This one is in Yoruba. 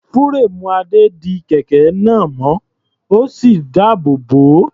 Fúréèmù Adé di kẹ̀kẹ́ náà mọ́, ó sì dáàbò bò ó.